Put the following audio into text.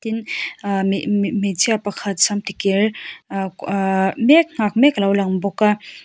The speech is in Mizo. ahh mi mi hmeichhia pakhat sam ti kir ah ah mek nghak mek alo lang bawk a.